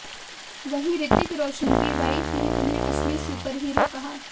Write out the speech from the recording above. वहीं रितिक रोशन की वाइफ ने उन्हें असली सुपर हीरो कहा